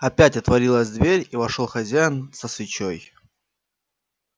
опять отворилась дверь и вошёл хозяин со свечой